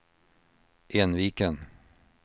Enviken